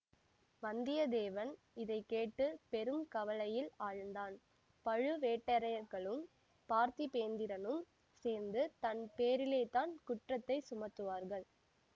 வந்தியத்தேவன் இதை கேட்டுப் பெரும் கவலையில் ஆழ்ந்தான் பழுவேட்டரையர்களும் பார்த்திபேந்திரனும் சேர்ந்து தன் பேரிலேதான் குற்றத்தைச் சுமத்துவார்கள்